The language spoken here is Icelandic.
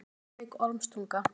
Reykjavík: Ormstunga.